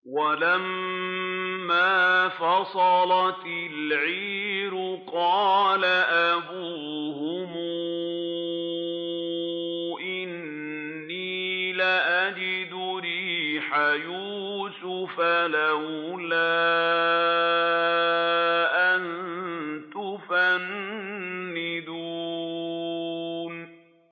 وَلَمَّا فَصَلَتِ الْعِيرُ قَالَ أَبُوهُمْ إِنِّي لَأَجِدُ رِيحَ يُوسُفَ ۖ لَوْلَا أَن تُفَنِّدُونِ